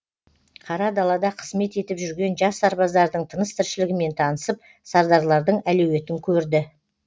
қара далада қызмет етіп жүрген жас сарбаздардың тыныс тіршілігімен танысып сардарлардың әлеуетін көрді